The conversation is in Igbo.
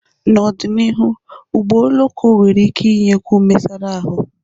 N'ọdịnihu, ụgbọ oloko nwere ike inyekwu mesara ahụ.